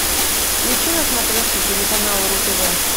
включи на смотрешке телеканал ру тв